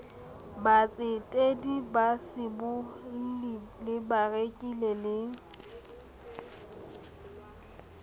batsetedi basibolli le bareki le